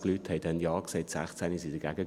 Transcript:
122 Leute sagten damals Ja, 16 waren dagegen.